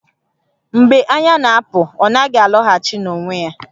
Mgbe anya na-apụ, ọ naghị alọghachi n'onwe ya